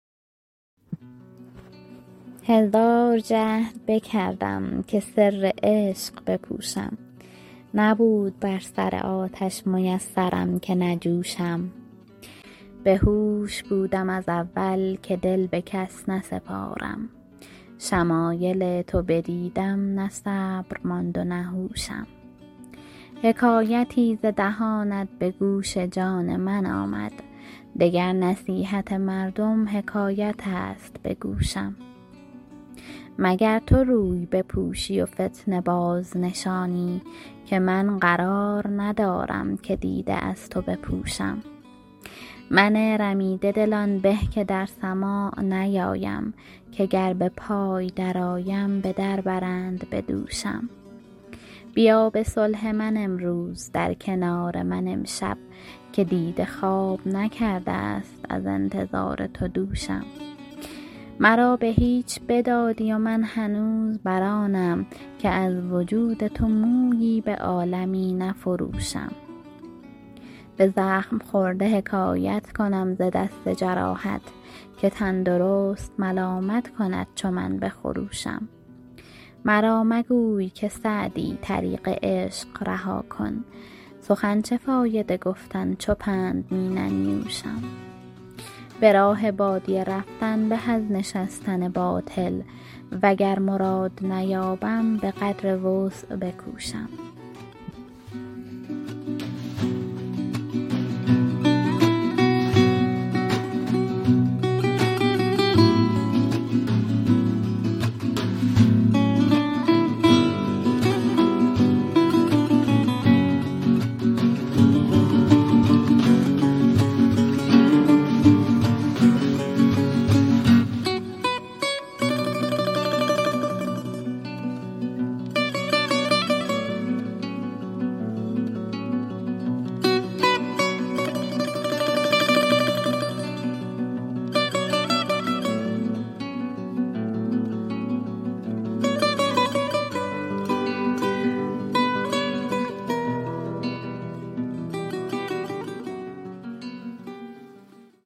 هزار جهد بکردم که سر عشق بپوشم نبود بر سر آتش میسرم که نجوشم بهوش بودم از اول که دل به کس نسپارم شمایل تو بدیدم نه صبر ماند و نه هوشم حکایتی ز دهانت به گوش جان من آمد دگر نصیحت مردم حکایت است به گوشم مگر تو روی بپوشی و فتنه بازنشانی که من قرار ندارم که دیده از تو بپوشم من رمیده دل آن به که در سماع نیایم که گر به پای درآیم به در برند به دوشم بیا به صلح من امروز در کنار من امشب که دیده خواب نکرده ست از انتظار تو دوشم مرا به هیچ بدادی و من هنوز بر آنم که از وجود تو مویی به عالمی نفروشم به زخم خورده حکایت کنم ز دست جراحت که تندرست ملامت کند چو من بخروشم مرا مگوی که سعدی طریق عشق رها کن سخن چه فایده گفتن چو پند می ننیوشم به راه بادیه رفتن به از نشستن باطل وگر مراد نیابم به قدر وسع بکوشم